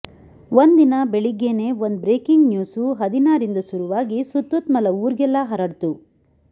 ಒಂದಿನ ಬೆಳಿಗ್ಗೇನೇ ಒಂದ್ ಬ್ರೇಕಿಂಗ್ ನ್ಯೂಸು ಹದಿನಾರಿಂದ ಸುರುವಾಗಿ ಸುತ್ಮುತ್ತಲ ಊರ್ಗೆಲ್ಲ ಹರಡ್ತು